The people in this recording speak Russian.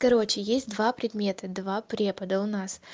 короче есть два предмета два препода у нас